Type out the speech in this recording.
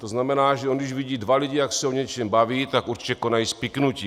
To znamená, že když on vidí dva lidi, jak se o něčem baví, tak určitě konají spiknutí.